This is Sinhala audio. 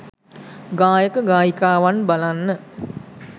ගායක ගායිකාවන් බලන්න